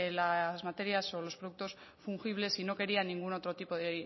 las materias o los productos fungibles y no quería ningún otro tipo